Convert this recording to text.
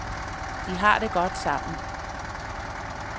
De har det godt sammen.